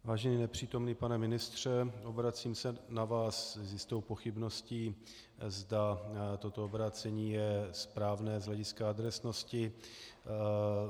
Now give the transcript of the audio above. Vážený nepřítomný pane ministře, obracím se na vás s jistou pochybností, zda toto obrácení je správné z hlediska adresnosti.